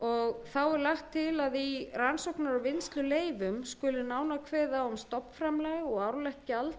þá er lagt til að í rannsóknar og vinnsluleyfum skuli nánar kveðið á um stofnframlag og árlegt gjald